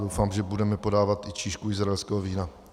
Doufám, že budeme podávat i číšku izraelského vína.